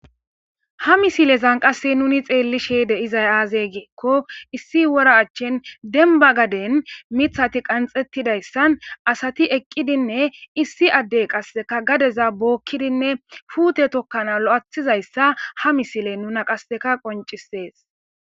Ha mislizan qasse nuni xelishe de7izay azze gikko issi wora achen demba gadden mithati qanxettidayssan assati eqidinne issi adey qasseka ka gadeza bookidinne puute tokanas lo7athizayssa ha misiley nuna qasseka qonccises